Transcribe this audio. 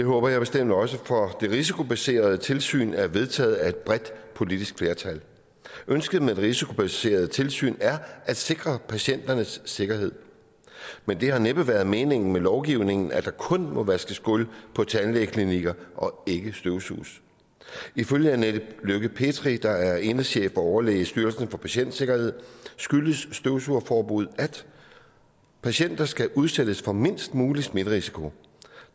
det håber jeg bestemt også for det risikobaserede tilsyn er vedtaget af et bredt politisk flertal ønsket med det risikobaserede tilsyn er at sikre patienternes sikkerhed men det har næppe været meningen med lovgivningen at der kun må vaskes gulv på tandklinikker og ikke støvsuges ifølge anette lykke petri der er enhedschef og overlæge i styrelsen for patientsikkerhed skyldes støvsugeforbuddet at patienter skal udsættes for mindst mulig smitterisiko